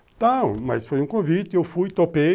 Então, mas foi um convite, eu fui, topei.